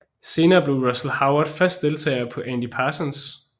Senere blev Russell Howard fast deltager med Andy Parsons